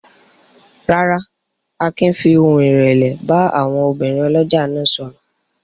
Rárá, Akin fi ohùn ìrẹ̀lẹ̀ bá àwọn obìnrin ọlọ́jà náà sọ̀rọ̀.